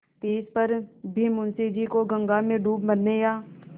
तिस पर भी मुंशी जी को गंगा में डूब मरने या